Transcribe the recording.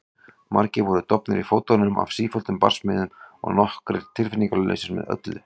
Margir voru dofnir í fótum af sífelldum barsmíðum og nokkrir tilfinningalausir með öllu.